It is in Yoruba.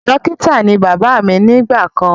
Dókítà ní bàbá mí nígbà kàn